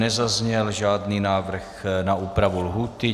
Nezazněl žádný návrh na úpravu lhůty.